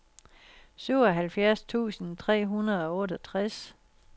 syvoghalvfjerds tusind tre hundrede og otteogtres